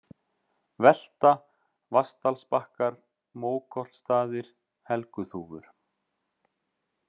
Velta, Vatnsdalsbakkar, Mókollsstaðir, Helguþúfur